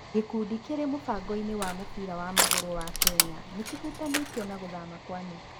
Gĩkundi kĩrĩ mũfangoinĩ wa mũbira wa magũrũ wa Kenya, nĩkĩhutithanĩtio na guthama kwa Nick.